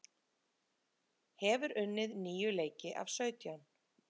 Hefur unnið níu leiki af sautján